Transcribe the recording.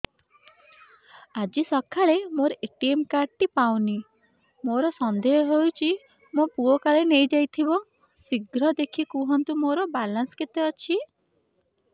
ଆଜି ସକାଳେ ମୋର ଏ.ଟି.ଏମ୍ କାର୍ଡ ଟି ପାଉନି ମୋର ସନ୍ଦେହ ହଉଚି ମୋ ପୁଅ କାଳେ ନେଇଯାଇଥିବ ଶୀଘ୍ର ଦେଖି କୁହନ୍ତୁ ମୋର ବାଲାନ୍ସ କେତେ ଅଛି